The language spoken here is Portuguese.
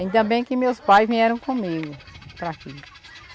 Ainda bem que meus pais vieram comigo para aqui.